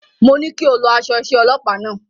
Mo ní kí o lọ aṣọ iṣẹ́ ọlọpàá náà.